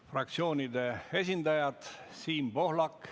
Fraktsioonide esindajad, palun!